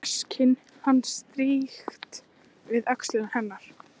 Rasskinn hans strýkst við öxl hennar.